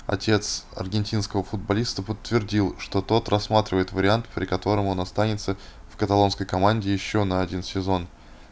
отец аргентинского футболиста подтвердил что тот рассматривает вариант при котором он останется в каталонской команде ещё на один сезон